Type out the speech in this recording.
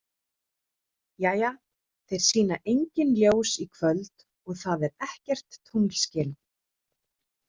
Jæja, þeir sýna engin ljós í kvöld og það er ekkert tunglskin.